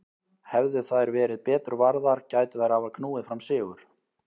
Hefðu þær verið betur varðar gætu þeir hafa knúið fram sigur.